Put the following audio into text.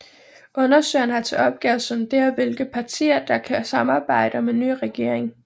Undersøgeren har til opgave at sondere hvilke partier der kan samarbejde om en ny regering